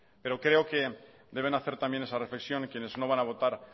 pero creo que deben hacer también esa reflexión quienes no van a votar